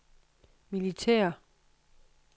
militære